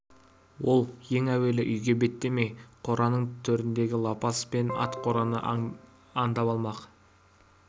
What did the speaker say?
ол ең әуелі үйге беттемей қораның төріндегі лапас пен ат қораны аңдап алмақ